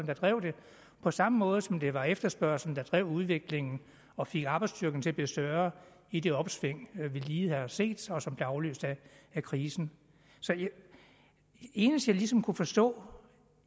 der drev det på samme måde som det var efterspørgslen der drev udviklingen og fik arbejdsstyrken til at blive større i det opsving vi lige har set som som blev afløst af krisen det eneste jeg ligesom kunne forstå